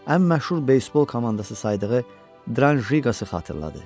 Ən məşhur beysbol komandası saydığı Dran Jiqası xatırladı.